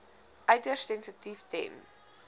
uiters sensitief ten